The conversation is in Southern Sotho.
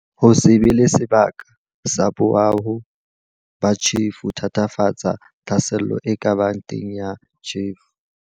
Ho se be le sebaka sa boaho ba tjhefo ho thatafatsa tlhaselo e ka bang teng ya tjhefo.